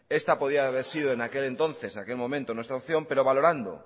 esta podía haber sido en aquel entonces en aquel momento nuestra opción pero valorando